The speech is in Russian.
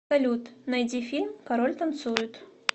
салют найди фильм король танцует